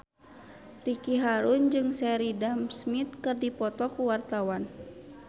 Ricky Harun jeung Sheridan Smith keur dipoto ku wartawan